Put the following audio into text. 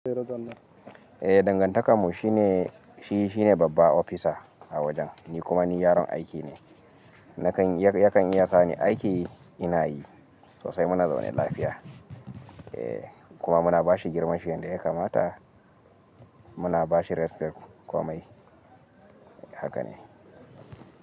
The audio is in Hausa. Eh, dangantakar mu shi ne, shi, shi ne babba opisa a wajen ni kuma ni yaron aiki ne. Nakan, ya kan iya sa ni aiki ina yi sosai muna zaune lafiya. Eh kuma muna bashi girmashi yanda ya kamata muna bashi respect komai haka ne.